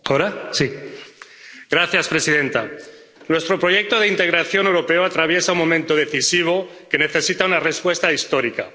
Señora presidenta, nuestro proyecto de integración europeo atraviesa un momento decisivo que necesita una respuesta histórica.